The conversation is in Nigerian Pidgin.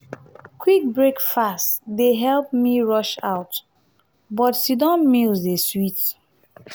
quick breakfast dey help me rush out but sit-down meals dey sweet.